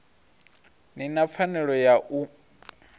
ni na pfanelo ya u